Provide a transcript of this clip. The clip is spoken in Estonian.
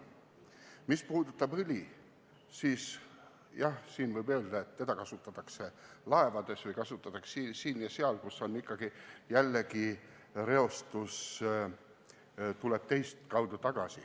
Mis puudutab õli, siis jah, võib öelda, et seda kasutatakse laevades ja veel siin ja seal, kust ikkagi tekib reostus.